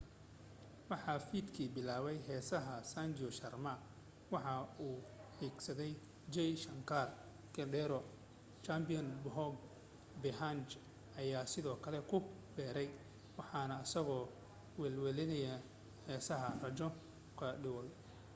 waxaa fiidki bilaabay heesaa sanju sharma waxaa ku xigsaday jai shankar choudhary chhappan bhog bhajan ayaa sidoo kale ku biiray waxana isagu wehlinayay heesaa raju khandelwal